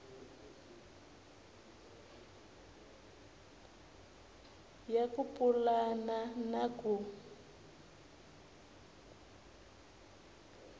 ya ku pulana na ku